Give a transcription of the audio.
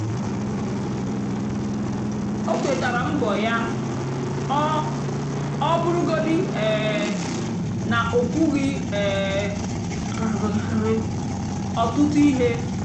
ó kwétárá mbọ́ yá ọ́ ọ́ bụ́rụ́gódị́ um nà ó kwúghị́ um ọ́tụtụ́ íhé.